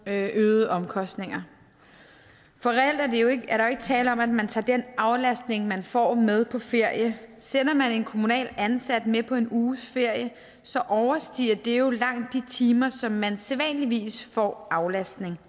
øgede omkostninger for reelt er der ikke tale om at man tager den aflastning man får med på ferie sender man en kommunalt ansat med på en uges ferie overstiger det jo langt de timer som man sædvanligvis får aflastning